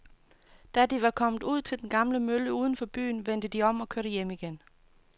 Da de var kommet ud til den gamle mølle uden for byen, vendte de om og kørte hjem igen.